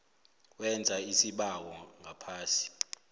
wenza isibawo ngaphasi